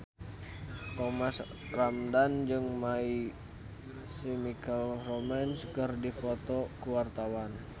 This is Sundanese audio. Thomas Ramdhan jeung My Chemical Romance keur dipoto ku wartawan